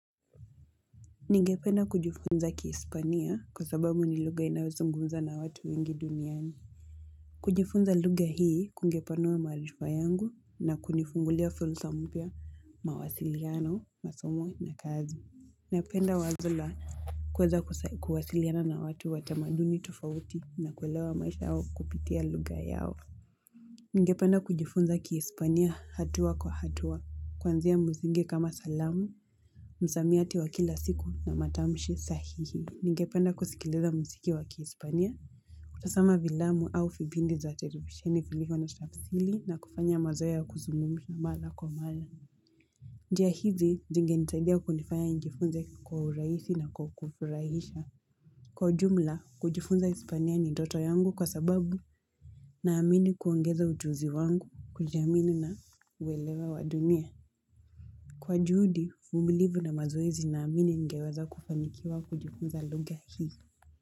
Ningependa kujifunza kihispania kwa sababu ni lugha inayozungumzwa na watu wengi duniani. Kujifunza lugha hii kungepanua maarifa yangu na kunifungulia fursa mpya mawasiliano, masomo na kazi. Napenda wazo la kuweza kuwasiliana na watu wa tamaduni tofauti na kuelewa maisha yao kupitia lugha yao. Ningependa kujifunza kihispania hatua kwa hatua, kuanzia msingi kama salamu, msamiati wa kila siku na matamshi sahihi. Ningependa kusikiliza muziki wa kihispania. Kutazama fiilamu au vipindi za televisheni vilivyo na tafsiri na kufanya mazoea ya kuzungumza mara kwa mara. Njia hizi zingenisaidia kunifanya nijifunze kwa urahisi na kwa kufurahisha. Kwa ujumla, kujifunza Hispania ni ndoto yangu kwa sababu naamini kuongeza ujuzi wangu kujiamini na uelewa wa dunia. Kwa juhudi, uvumilivu na mazoezi naamini ningeweza kufanikiwa kujifunza lugha hii.